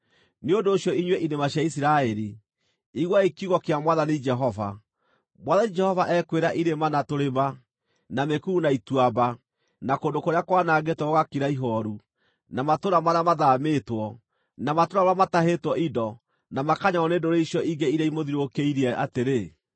nĩ ũndũ ũcio inyuĩ irĩma cia Isiraeli, iguai kiugo kĩa Mwathani Jehova: Mwathani Jehova ekwĩra irĩma na tũrĩma, na mĩkuru na ituamba, na kũndũ kũrĩa kwanangĩtwo gũgakira ihooru, na matũũra marĩa mathaamĩtwo, na matũũra marĩa matahĩtwo indo na makanyararwo nĩ ndũrĩrĩ icio ingĩ iria imũthiũrũrũkĩirie atĩrĩ,